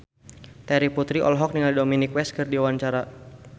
Terry Putri olohok ningali Dominic West keur diwawancara